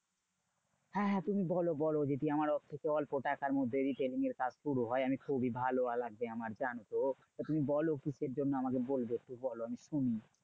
হ্যাঁ হ্যাঁ তুমি বলো বলো। যদি আমার কিছু অল্প টাকার মধ্যে retailing এর কাজ শুরু হয়। আমি খুবই ভালো লাগবে আমার জানো? তা তুমি বলো কিসের জন্য আমাকে বলবে? একটু বলো আমি শুনি?